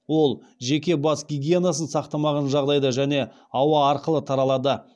ол жеке бас гигиенасын сақтамаған жағдайда және ауа арқылы таралады